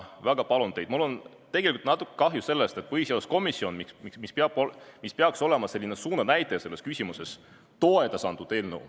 Mul on natuke kahju sellest, et põhiseaduskomisjon, mis peaks olema suunanäitaja selles küsimuses, toetas eelnõu.